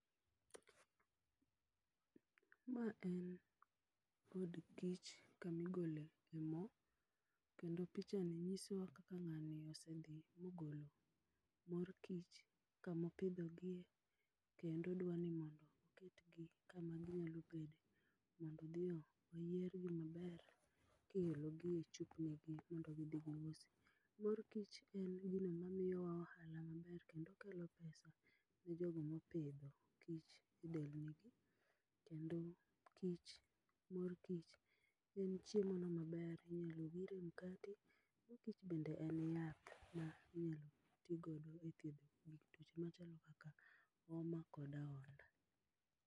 Ma en od kich kama igole e moo kendo pichani nyisowa kaka ngani osedhi mogolo mor kich kamo opidho gie kendo odwani mondo oket gi kama ginyalo bede mondo odhi oyier gi maber kiolo gi e chupni gi mondo gidhi giusi. Mor kich en gino mamiyowa ohala maber kendo kelo pesa ne jogo mopidho kich e delni gi kendo kich ,mor kich en chiemo no maber, inyalo wire mkati, mor kich bende en yath mainyalo tii godo e thieth tuoche machalo kaka homa kod ahonda